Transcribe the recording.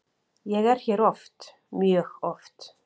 Ég er hér oft, mjög oft.